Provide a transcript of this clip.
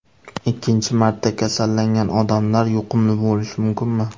Ikkinchi marta kasallangan odamlar yuqumli bo‘lishi mumkinmi?